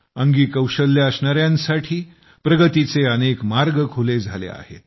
अंगी कौशल्ये असणाऱ्यांसाठी प्रगतीचे अनेक मार्ग खुले झाले आहेत